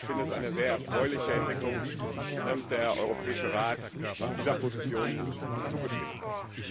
Ich halte es für eine sehr erfreuliche Entwicklung, dass der Europäische Rat dieser Position zugestimmt hat.